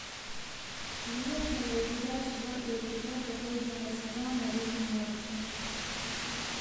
имеется ли у тебя четвертый эпизод последнего сезона рик и морти